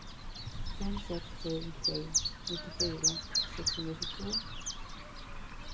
fem sex sju sju nittiofyra sexhundratjugotvå